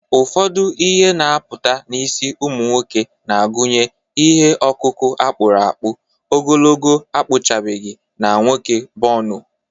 Ụfọdụ ihe na-apụta n’isi ụmụ nwoke na-agụnye ihe ọkụkụ a kpụrụ akpụ, ogologo akpụchabeghị, na nwoke bonu.